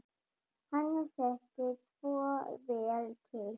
Hann þekkir svo vel til.